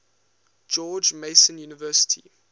george mason university